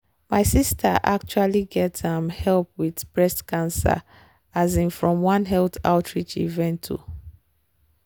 my sister actually get um help with breast cancer um from one health outreach event. um